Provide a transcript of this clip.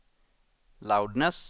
loudness